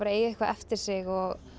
eiga eitthvað eftir sig og